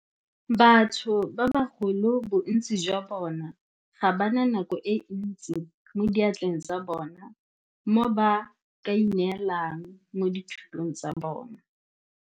Batho ba bagolo bontsi jwa bona ga ba na nako e ntsi mo diatleng tsa bona mo ba kaineelang mo dithutong tsa bona.